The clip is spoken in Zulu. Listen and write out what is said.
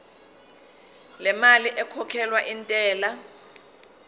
lemali ekhokhelwa intela